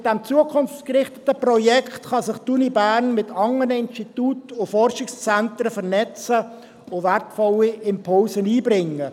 Mit diesem zukunftsgerichteten Projekt kann sich einerseits die Universität Bern mit anderen Instituten und Forschungszentren vernetzen und wertvolle Impulse einbringen.